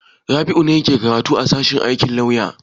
Rabi'u ne yake karatu a sashen aikin lauya.